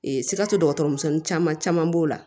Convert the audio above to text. sikaso dɔgɔtɔrɔ misɛnnin caman caman b'o la